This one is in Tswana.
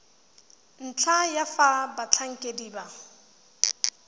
ntlha ya fa batlhankedi ba